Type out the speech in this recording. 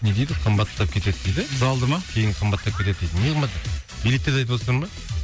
не дейді қымбаттап кетеді дейді залды ма кейін қымбаттап кетеді дейді не қымбаттап билеттерді айтывотсыздар ма